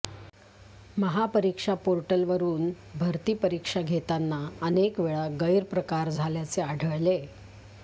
महापरीक्षा पोर्टलवरून भरती परीक्षा घेताना अनेकवेळा गैरप्रकार झाल्याचे आढळले